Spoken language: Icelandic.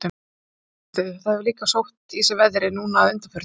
Hugrún Halldórsdóttir: Þetta hefur líka sótt í sig veðrið núna að undanförnu?